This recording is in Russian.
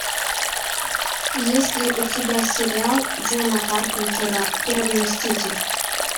есть ли у тебя сериал джона карпентера первый мститель